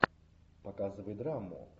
показывай драму